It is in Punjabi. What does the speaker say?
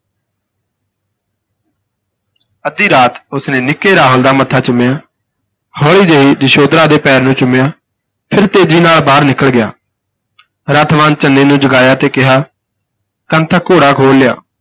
ਅੱਧੀ ਰਾਤ ਉਸਨੇ ਨਿੱਕੇ ਰਾਹੁਲ ਦਾ ਮੱਥਾ ਚੁੰਮਿਆ ਹੌਲੀ ਜਿਹੀ ਯਸ਼ੋਦਰਾ ਦੇ ਪੈਰ ਨੂੂੰ ਚੁੰਮਿਆ ਫਿਰ ਤੇਜ਼ੀ ਨਾਲ ਬਾਹਰ ਨਿਕਲ ਗਿਆ, ਰੱਥਵਾਨ ਚੰਨੇ ਨੂੰ ਜਗਾਇਆ ਕਿਹਾ ਕਾਂਤਾ ਘੋੜਾ ਖੋਲ ਲਿਆ।